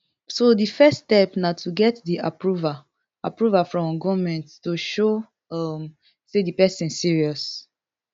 so di first step na to get di approval approval from goment to show um say di pesin serious